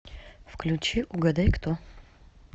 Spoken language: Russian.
включи угадайкто